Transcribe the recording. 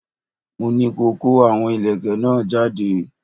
Mo ní ko kó àwọn ìlẹ̀kẹ̀ náà jáde!